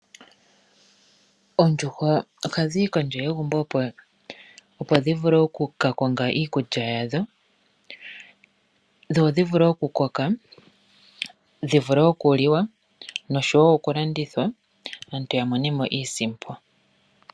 Oondjuhwa ohadhi yi kondje yegumbo, opo dhi vule oku ka konga iikulya yadho, dho dhi vule oku koka, dhi vule oku liwa noshowo oku landithwa aantu ya mone mo iisimpo.